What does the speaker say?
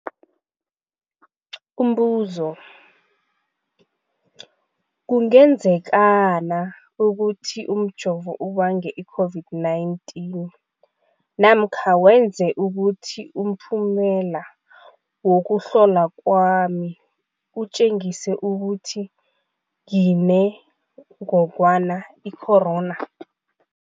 Umbuzo, kungenzekana ukuthi umjovo ubange i-COVID-19 namkha wenze ukuthi umphumela wokuhlolwa kwami utjengise ukuthi nginengogwana i-corona?